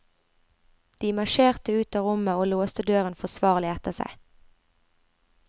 De marsjerte ut av rommet og låste døren forsvarlig etter seg.